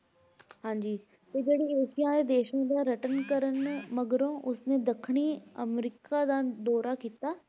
ਹਾਂਜੀ ਤੇ ਜਿਹੜੀ ਏਸ਼ੀਆਈ ਦੇਸਾਂ ਦਾ ਰਟਨ ਕਰਨ ਮਗਰੋਂ ਉਸ ਨੇ ਦੱਖਣੀ ਅਮਰੀਕਾ ਦਾ ਦੌਰਾ ਕੀਤਾ l